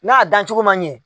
N'a dan cogo man ɲɛ.